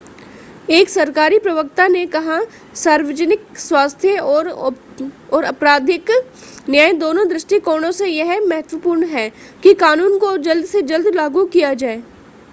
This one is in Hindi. एक सरकारी प्रवक्ता ने कहा सार्वजनिक स्वास्थ्य और आपराधिक न्याय दोनों दृष्टिकोणों से यह महत्वपूर्ण है कि कानून को जल्द से जल्द लागू किया जाए